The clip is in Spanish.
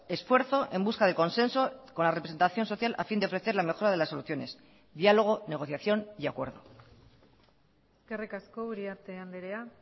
esfuerzo en busca de consenso con la representación social a fin de ofrecer la mejora de las soluciones diálogo negociación y acuerdo eskerrik asko uriarte andrea